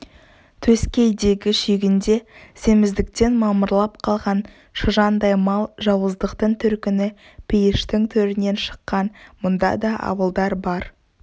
төскейдегі шүйгінде семіздіктен мамырлап қалған шыжандай мал жауыздықтың төркіні пейіштің төрінен шыққан мұнда да абылдар бар